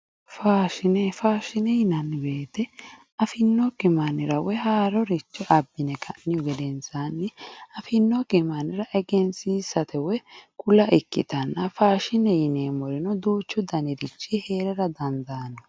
Faashine faashine yinanni woyiite afinokki mannira woye haaroricho abbine ka'nihu gedensaanni afinokki mannira egensiisate oye kula ikkitanna faasnhiete yineemmori duuchu daniri heera dandaanno